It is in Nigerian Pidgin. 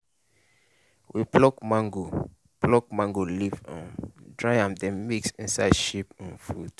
we pluck mango pluck mango leaf um dry am then mix inside sheep um food.